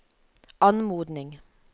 anmodning